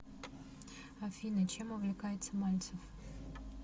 афина чем увлекается мальцев